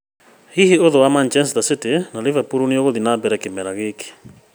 Hihi ũthũ wa Manchester City na Liverpool nĩũgũthiĩ na mbere kĩmera gĩkĩ?